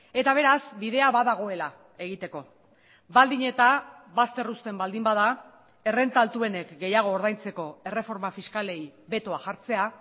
eta beraz bidea badagoela egiteko baldin eta bazter usten baldin bada errenta altuenek gehiago ordaintzeko erreforma fiskalei betoa jartzea